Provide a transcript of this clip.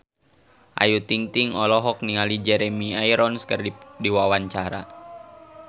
Ayu Ting-ting olohok ningali Jeremy Irons keur diwawancara